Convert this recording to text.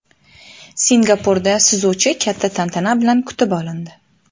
Singapurda suzuvchi katta tantana bilan kutib olindi .